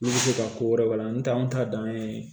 Olu bɛ se ka ko wɛrɛ tɛ an t'a dan ye